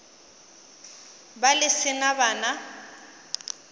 be le se na bana